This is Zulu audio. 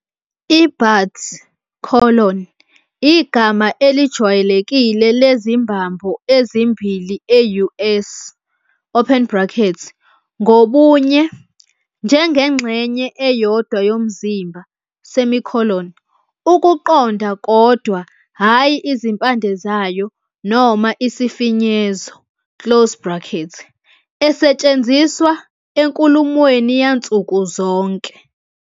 I-Butt colon, igama elijwayelekile lezimbambo ezimbili e-US open bracket, ngobunye, njengengxenye eyodwa yomzimba, semicolon, ukuqonda kodwa hhayi izimpande zayo noma isifinyezo, close bracket, esetshenziswa enkulumweni yansuku zonke.